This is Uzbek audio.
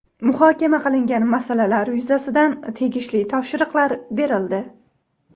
Muhokama qilingan masalalar yuzasidan tegishli topshiriqlar berildi.